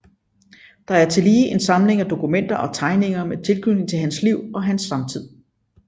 Der er tillige en samling af dokumenter og tegninger med tilknytning til hans liv og hans samtid